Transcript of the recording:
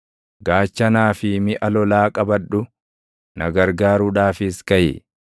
Gaachanaa fi miʼa lolaa qabadhu; na gargaaruudhaafis kaʼi.